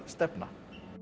stefna